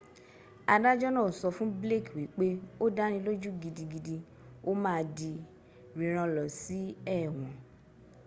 adájọ́ náà sọ fún blake wípé o dáni lójú gigdigidi o máà di rírán lọ si éwọ́n